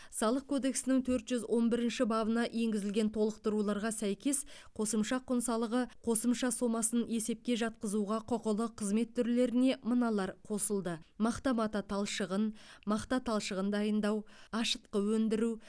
салық кодексінің төрт жүз он бірінші бабына енгізілген толықтыруларға сәйкес қосымша құн салығы қосымша сомасын есепке жатқызуға құқылы қызмет түрлеріне мыналар қосылды мақта мата талшығын мақта талшығын дайындау ашытқы өндіру